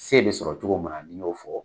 Se bɛ sɔrɔ cogo min na ni y'o fɔ.